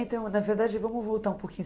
Então, na verdade, vamos voltar um pouquinho.